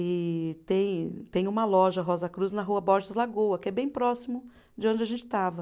E tem tem uma loja Rosa Cruz na rua Borges Lagoa, que é bem próximo de onde a gente estava.